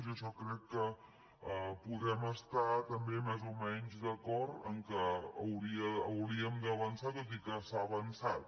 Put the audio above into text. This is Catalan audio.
i en això crec que podem estar també més o menys d’acord que hauríem d’avançar tot i que s’ha avançat